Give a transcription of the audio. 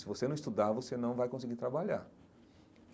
Se você não estudar, você não vai conseguir trabalhar.